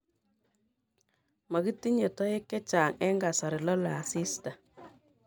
makitinye toek chechang eng kasari lolei asis